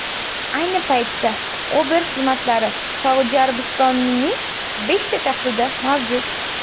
Ayni paytda Uber xizmatlari Saudiya Arabistonining beshta shahrida mavjud.